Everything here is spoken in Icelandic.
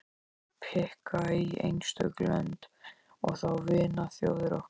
Hví pikka í einstök lönd, og þá vinaþjóðir okkar.